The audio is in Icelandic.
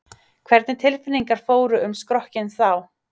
Hvernig tilfinningar fóru um skrokkinn þá?